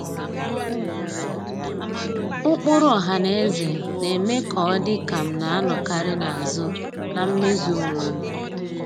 Ụkpụrụ ọhanaeze na-eme ka ọ dị ka m na-anọkarị n'azụ na mmezu onwe m.